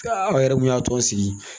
aw yɛrɛ mun y'a tɔ sigi